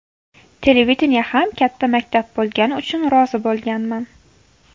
Televideniye ham katta maktab bo‘lgani uchun rozi bo‘lganman.